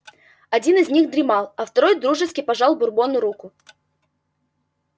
один из них дремал а второй дружески пожал бурбону руку